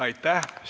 Aitäh!